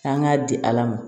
An k'a di ala ma